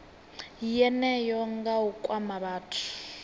yeneyo nga u kwama vhathu